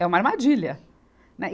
É uma armadilha, né e.